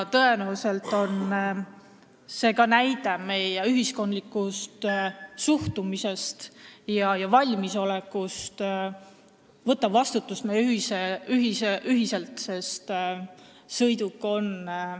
Tõenäoliselt on see ka näide meie ühiskondliku suhtumise ja valmisoleku kohta võtta ühiselt vastutus.